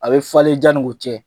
A bɛ falen janni o cɛ.